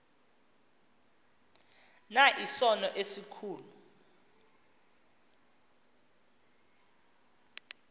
na isono esikhulu